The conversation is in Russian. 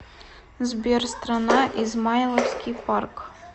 сбер страна измайловский парк